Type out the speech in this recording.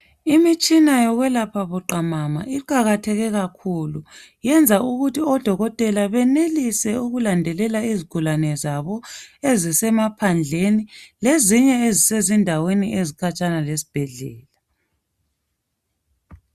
imitshina yokuyelapha buqhamama iqhakatheke kakhulu iyenza ukuba odokotela benelise ukulandelela izigulane zabo ezisemaphandleni lezinye ezise zindaweni ezikhatshana lesibhedlela